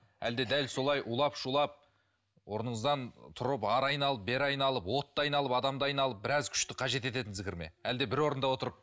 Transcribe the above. әлде дәл солай улап шулап орныңыздан тұрып әрі айналып бері айналып отты айналып адамды айналып біраз күшті қажет ететін зікір ме әлде бір орында отырып